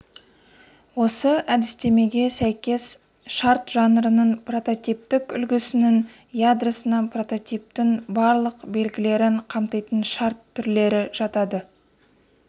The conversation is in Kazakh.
осы әдістемеге сәйкес шарт жанрының прототиптік үлгісінің ядросына прототиптің барлық белгілерін қамтитын шарт түрлері жатады